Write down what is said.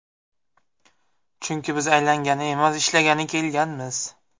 Chunki biz aylangani emas, ishlagani kelganmiz.